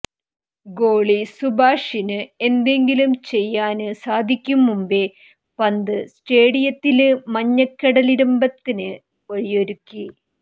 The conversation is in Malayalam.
ഗോളി സുഭാശിഷിന് എന്തെങ്കിലും ചെയ്യാന് സാധിക്കും മുമ്പെ പന്ത് സ്റ്റേഡിയത്തില് മഞ്ഞക്കടലിരമ്പത്തിന് വഴിയൊരുക്കി